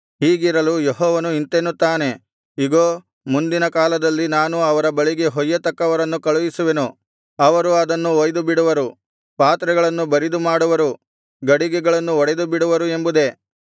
ಹೀಗಿರಲು ಯೆಹೋವನು ಇಂತೆನ್ನುತ್ತಾನೆ ಇಗೋ ಮುಂದಿನ ಕಾಲದಲ್ಲಿ ನಾನು ಅವರ ಬಳಿಗೆ ಹೊಯ್ಯತಕ್ಕವರನ್ನು ಕಳುಹಿಸುವೆನು ಅವರು ಅದನ್ನು ಹೊಯ್ದುಬಿಡುವರು ಪಾತ್ರೆಗಳನ್ನು ಬರಿದು ಮಾಡುವರು ಗಡಿಗೆಗಳನ್ನು ಒಡೆದುಬಿಡುವರು ಎಂಬುದೇ